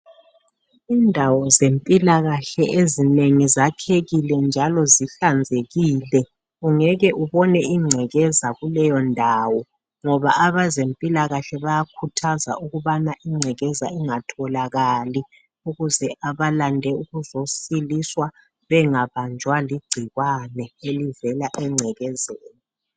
Indawo zempilakahle ezinengi zakhekile njalo zihlanzekile ungeke ubone ingcekeza kuleyondawo ngoba abezempilakahle bayakhuthaza ukuthi ingcekeza ingatholakali ukuze abalande ukuzosiliswa bengabanjwa ligcikwane elivela engcekezeni.